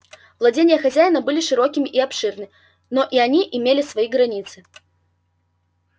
владения хозяина были широки и обширны но и они имели свои границы